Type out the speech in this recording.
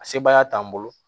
A sebaaya t'an bolo